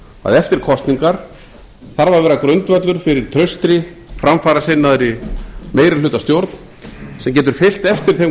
að eftir kosningar þarf að vera grundvöllur fyrir traustri framfarasinnaðri meirihlutastjórn sem getur fylgt eftir þeim